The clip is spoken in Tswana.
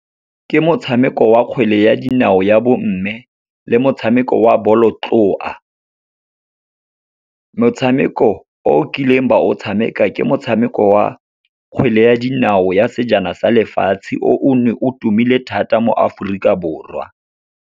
Ke motshameko wa kgwele ya dinao ya bomme le motshameko wa bolotloa. Motshameko o kileng ba o tshameka, ke motshameko wa kgwele ya dinao ya Sejana sa Lefatshe o o ne o tumile thata mo Aforika Borwa.